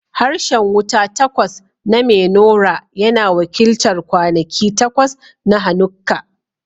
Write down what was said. Harshen wuta takwas na menorah yana wakiltar kwanaki takwas na Hanukkah.